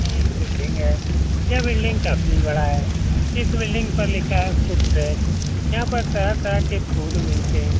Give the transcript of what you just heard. यह एक बिल्डिंग है। यह बिल्डिंग काफी बड़ा है। इस बिल्डिंग पर लिखा है फूड ट्रैक यहाँ पर तरह-तरह के फूड मिलते हैं।